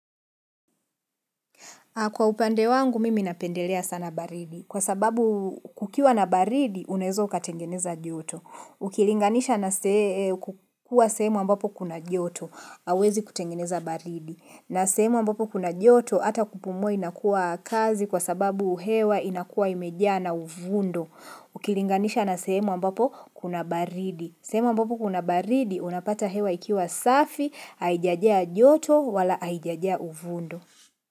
Kwa upande wangu, mimi napendelea sana baridi. Kwa sababu kukiwa na baridi, unaweza ukatengeneza joto. Ukilinganisha na kukuwa sehemu ambapo kuna joto, hauwezi kutengeneza baridi. Na sehemu ambapo kuna joto, ata kupumua ina kuwa kazi kwa sababu hewa inakuwa imejaa na uvundo. Ukilinganisha na semo ambapo kuna baridi. Sehemu ambapo kuna baridi, unapata hewa ikiwa safi, haijajia joto wala haijajia uvundo.